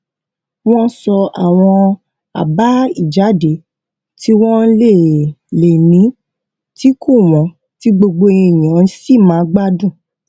wón sọ àwọn àbá ìjáde tí wón lè lè ní tí kò wón tí gbogbo èèyàn sì máa gbádùn